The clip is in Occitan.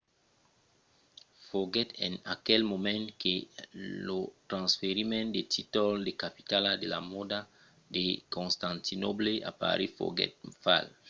foguèt en aquel moment que lo transferiment del títol de capitala de la mòda de constantinòble a parís foguèt fach